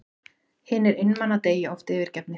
Hinir einmana deyja oft yfirgefnir.